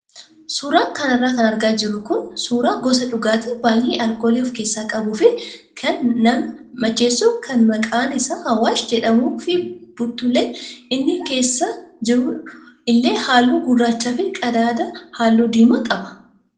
Suuraa kanarra kan argaa jirru kun suuraa gosa dhugaatii baay'ee alkoolii of keessaa qabuu fi kan nama macheessu kan maqaan isaa Awaash jedhamuu fi buttulleen inni keessa jiru illee halluu gurraachaa fi qadaada halluu diimaa qaba.